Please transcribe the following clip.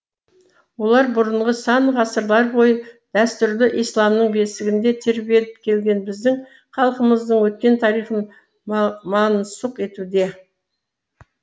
олар бұрынғы сан ғасырлар бойы дәстүрлі исламның бесігінде тербеліп келген біздің халқымыздың өткен тарихын мансұқ етуде